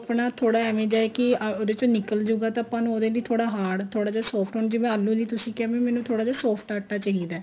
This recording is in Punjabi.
ਆਪਣਾ ਥੋੜਾ ਜਾ ਏਵੈ ਦਾ ਹੈ ਕੀ ਉਹਦੇ ਚੋ ਨਿਕਲ ਜੁਗਾ ਤਾਂ ਆਪਾਂ ਨੂੰ ਉਹਦੇ ਲਈ ਥੋੜਾ hard ਥੋੜਾ ਜਾ soft ਹੁਣ ਜਿਵੇਂ ਆਲੂਆਂ ਲਈ ਤੁਸੀਂ ਕਿਹਾ ਵੀ ਮੈਨੂੰ ਥੋੜਾ ਜਾ soft ਆਟਾ ਚਾਹੀਦਾ